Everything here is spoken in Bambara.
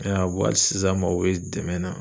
I ya ye a, hali sisan n mako be dɛmɛ na